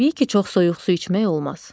Təbii ki, çox soyuq su içmək olmaz.